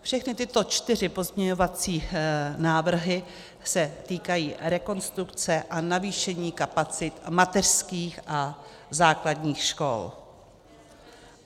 Všechny tyto čtyři pozměňovací návrhy se týkají rekonstrukce a navýšení kapacit mateřských a základních škol.